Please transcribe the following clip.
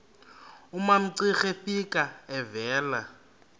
umamcira efika evela